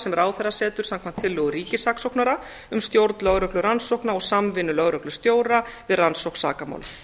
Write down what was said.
sem ráðherra setur samkvæmt tillögu ríkissaksóknara um stjórn lögreglurannsókna og samvinnu lögreglustjóra við rannsókn sakamála